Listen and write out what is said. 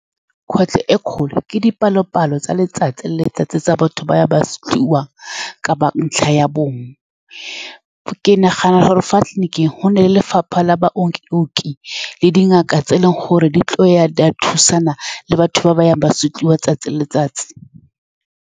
Kgwetlho e e kgolo ke dipalopalo tsa letsatsi le letsatsi tsa batho ba ba , kapa ntlha ya bong. Ke nagana gore fa tleliliniking gona le lefapha la baoki-baoki le dingaka, tse e leng gore di tlile go ya, di a thusana le batho ba ba yang ba supiwang letsatsi le letsatsi.